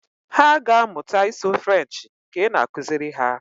Hà aga amụta ịsụ asụsụ Frenshi nke ị na-akụziri ha.